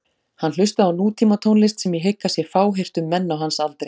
Hann hlustaði á nútímatónlist sem ég hygg að sé fáheyrt um menn á hans aldri.